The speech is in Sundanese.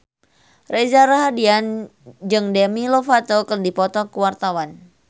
Reza Rahardian jeung Demi Lovato keur dipoto ku wartawan